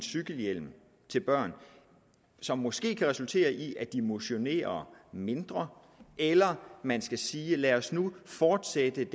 cykelhjelm til børn som måske kan resultere i at de motionerer mindre eller om man skal sige lad os nu fortsætte